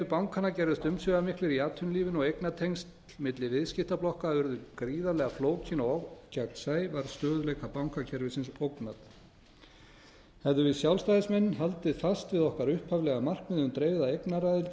bankanna gerðust umsvifamiklir í atvinnulífinu og eignatengsl milli viðskiptablokka urðu gríðarlega flókin og ógegnsæ var stöðugleika bankakerfisins ógnað hefðum við sjálfstæðismenn haldið fast við okkar upphaflega markmið um dreifða eignaraðild eru